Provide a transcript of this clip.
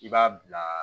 I b'a bila